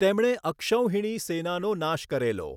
તેમણે અક્ષૌહિણી સેનાનો નાશ કરેલો.